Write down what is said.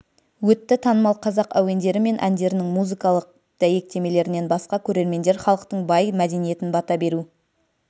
өтті танымал қазақ әуендері мен әндерінің музыкалық дәйектемелерінен басқа көрермендер халықтың бай мәдениетін бата беру